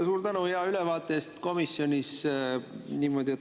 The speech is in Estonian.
Suur tänu hea ülevaate eest komisjonis toimunust!